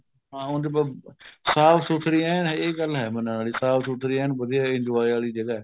ਹਾਂ ਉਂਝ ਸਾਫ਼ ਸੁਥਰੀ ਏਨ ਇਹ ਗੱਲ ਹੈ ਮੰਨਣ ਵਾਲੀ ਸਾਫ਼ ਸੁਥਰੀ ਏਨ ਵਧੀਆ enjoy ਆਲੀ ਜਗ੍ਹਾ